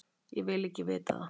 Og ég vil ekki vita það.